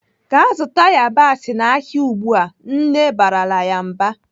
"Gaa zụta yabasị n'ahịa ugbu a!" Nne barala ya mba.